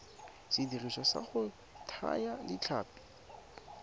sediriswa sa go thaya ditlhapi